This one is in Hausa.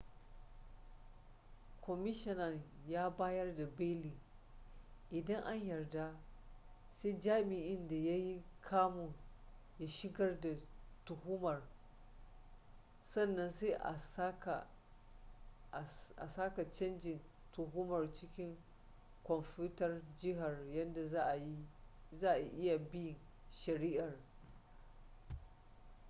kwamishinan ya bayar da beli idan an yarda sai jami'in da ya yi kamun ya shigar da tuhumar sannan sai a saka cajin tuhumar cikin kwamfutar jihar yadda za'a iya bin shari'ar